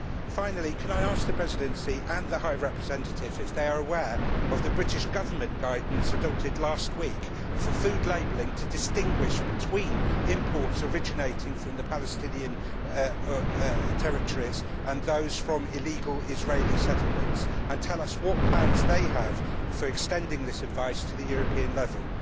Finally, can I ask the Presidency and the High Representative if they are aware of the British Government guidance adopted last week for food labelling to distinguish between imports originating from the Palestinian territories and those from illegal Israeli settlements, and tell us what plans they have for extending this advice to the European level.